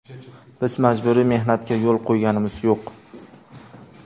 Biz majburiy mehnatga yo‘l qo‘yganimiz yo‘q.